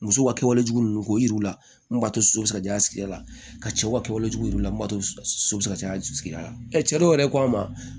Muso ka kɛwalejugu ninnu k'o yira u la mun b'a to so bɛ se ka caya ka cɛw ka kɛwalejuguw la bato so bɛ ka caya sigida la cɛ dɔw yɛrɛ ko ma